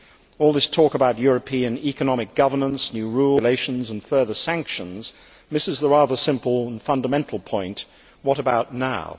All this talk about European economic governance, new rules and regulations and further sanctions misses the rather simple and fundamental point what about now?